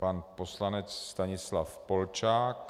Pan poslanec Stanislav Polčák.